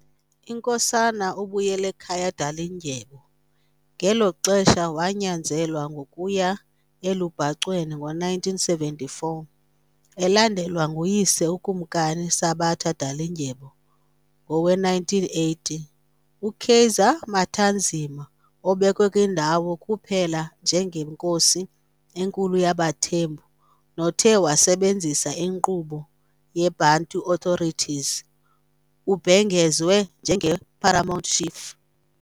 INkosana uBuyelekhaya Dalindyebo ngelo xesha wanyanzelwa ngokuya elubhacweni ngowe1974, elandelwa nguyise uKumkani Sabata Dalindyebo ngowe1980. UKaiser Matanzima, obekwe kwindawo kuphela njengenkosi enkulu yabaThembu nothe wasebenzisa inkqubo yeBantu Authorities, ubhengezwe njenge "Paramount Chief".